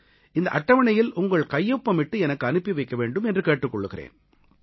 இந்த அட்டவணையில் உங்கள் கையொப்பமிட்டு எனக்கு அனுப்பி வைக்க வேண்டும் என்று கேட்டுக் கொள்கிறேன்